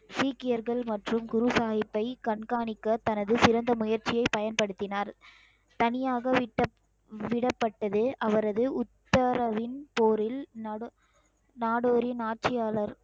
சீக்கியர்கள் மற்றும் குரு சாஹிப்பை கண்காணிக்க தனது சிறந்த முயற்சியை பயன்படுத்தினார் தனியாக விட்ட~ விடப்பட்டது அவரது உத்தரவின் போரில் நட~ நாடோடின் ஆட்சியாளர்